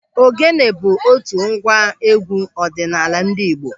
Ògénė bụ otu ngwa égwú ọdịnala ndị Igbo.